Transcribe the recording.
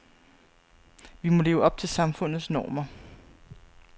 Vi må leve op til samfundets normer.